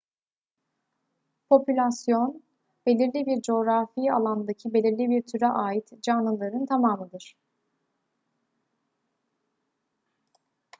popülasyon belirli bir coğrafi alandaki belirli bir türe ait canlıların tamamıdır